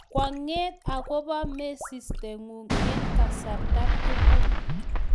Kwang'et akobo mesistien'ung eng' kasarta tugul